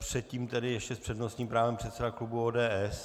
Předtím tedy ještě s přednostním právem předseda klubu ODS.